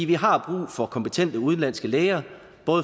vi har brug for kompetente udenlandske læger